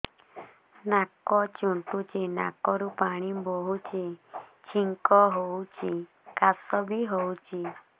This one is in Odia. ନାକ ଚୁଣ୍ଟୁଚି ନାକରୁ ପାଣି ବହୁଛି ଛିଙ୍କ ହଉଚି ଖାସ ବି ହଉଚି